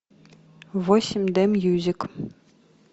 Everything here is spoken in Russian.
восемь д мьюзик